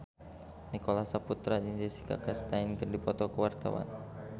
Nicholas Saputra jeung Jessica Chastain keur dipoto ku wartawan